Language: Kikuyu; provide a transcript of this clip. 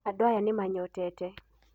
Andũ aya nĩmanyotete.